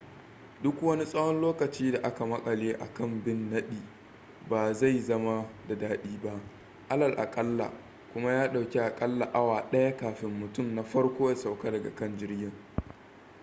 duk wani tsawon lokacin da aka makale a kan abin nadi ba zai zama da dadi ba alal akalla kuma ya dauki a kalla awa daya kafin mutum na farko ya sauka daga kan jirgin